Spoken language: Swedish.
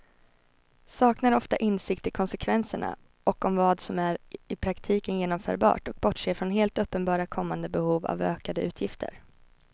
Saknar ofta insikt i konsekvenserna och om vad som är i praktiken genomförbart och bortser från helt uppenbara kommande behov av ökade utgifter.